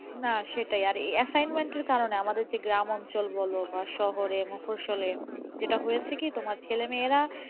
না সেটাই আর এই assignment এর কারণে আমাদের যে গ্রাম অঞ্চল বলো বা শহরে মফসসলে যেটা হয়েছে কি তোমার ছেলেমেয়েরা,